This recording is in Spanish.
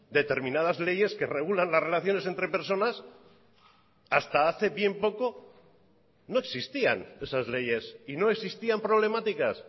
determinadas leyes que regulan las relaciones entre personas hasta hace bien poco no existían esas leyes y no existían problemáticas